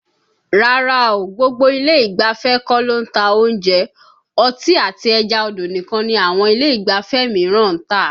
Rárá o, gbogbo ilé ìgbafẹ́ kọ́ ló ń ta oúnjẹ, ọtí àti ẹja odò nìkan ni àwọn ilé ìgbafẹ́ mìíràn ń tà